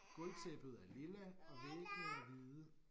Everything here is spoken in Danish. Gulvtæppet er lilla og væggene er hvide